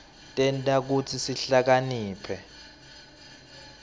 tenta kutsi sihlakaniphe